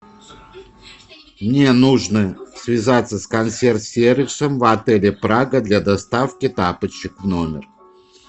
мне нужно связаться с консьерж сервисом в отеле прага для доставки тапочек в номер